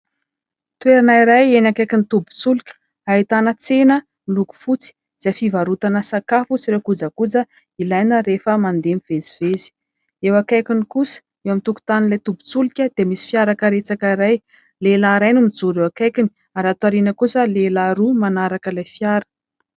Toerana iray eny akaikin'ny tobin-tsolika, ahitana tsena miloko fotsy, izay fivarotana sakafo sy ireo kojakoja ilaina rehefa mandeha mivezivezy. Eo akaikiny kosa, eo an-tokotanin'ilay tobin-tsolika, dia misy fiara karetsaka iray ; lehilahy iray no mijoro eo akaikiny ; ary aty aoriana kosa, lehilahy roa manaraka ilay fiara.